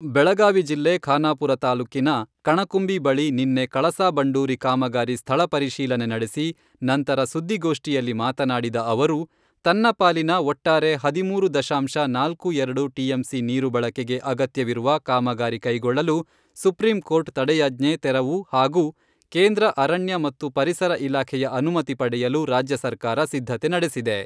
ಬೆಳಗಾವಿ ಜಿಲ್ಲೆ ಖಾನಾಪುರ ತಾಲ್ಲೂಕಿನ ಕಣಕುಂಬಿ ಬಳಿ ನಿನ್ನೆ ಕಳಸಾ ಬಂಡೂರಿ ಕಾಮಗಾರಿ ಸ್ಥಳ ಪರಿಶೀಲನೆ ನಡೆಸಿ, ನಂತರ ಸುದ್ದಿಗೋಷ್ಠಿಯಲ್ಲಿ ಮಾತನಾಡಿದ ಅವರು, ತನ್ನ ಪಾಲಿನ ಒಟ್ಟಾರೆ ಹದಿಮೂರು ದಶಾಂಶ ನಾಲ್ಕು ಎರಡು ಟಿಎಂಸಿ ನೀರು ಬಳಕೆಗೆ ಅಗತ್ಯವಿರುವ ಕಾಮಗಾರಿ ಕೈಗೊಳ್ಳಲು ಸುಪ್ರೀಂ ಕೋರ್ಟ್ ತಡೆಯಾಜ್ಞೆ ತೆರವು ಹಾಗೂ ಕೇಂದ್ರ ಅರಣ್ಯ ಮತ್ತು ಪರಿಸರ ಇಲಾಖೆಯ ಅನುಮತಿ ಪಡೆಯಲು ರಾಜ್ಯ ಸರ್ಕಾರ ಸಿದ್ಧತೆ ನಡೆಸಿದೆ.